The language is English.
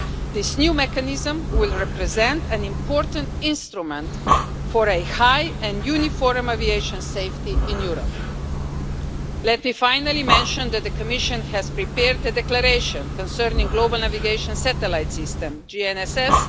This new mechanism will represent an important instrument for a high and uniform aviation safety in Europe. Let me finally mention that the Commission has prepared a declaration concerning the Global Navigation Satellite System as previously announced during the negotiations.